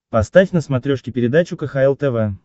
поставь на смотрешке передачу кхл тв